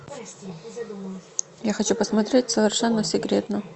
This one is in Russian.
я хочу посмотреть совершенно секретно